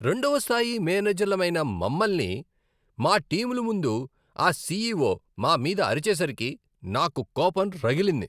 రెండవ స్థాయి మేనేజర్లమైన మమల్ని, మా టీముల ముందు ఆ సీఈఓ మా మీద అరిచేసరికి , నాకు కోపం రగిలింది.